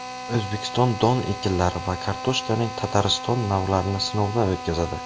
O‘zbekiston don ekinlari va kartoshkaning Tatariston navlarini sinovdan o‘tkazadi.